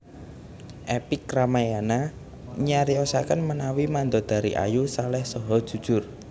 Epik Rayamana nyariosaken menawi Mandodari ayu saleh saha jujur